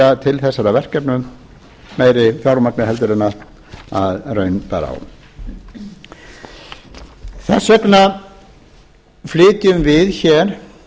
verja til þessara verkefna meiri fjármagni heldur en raun bar á þess vegna flytjum við hér